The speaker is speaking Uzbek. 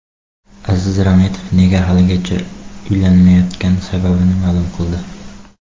Aziz Rametov nega haligacha uylanmayotgani sababini ma’lum qildi .